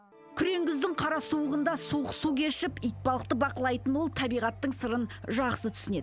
күрең күздің қара суығында суық су кешіп итбалықты бақылайтын ол табиғаттың сырын жақсы түсінеді